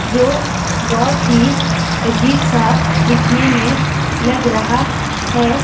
जो बहुत ही अजीब सा दिखने में लग रहा है।